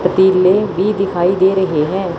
पतीले भी दिखाई दे रहे हैं।